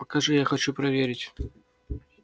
покажи я хочу проверить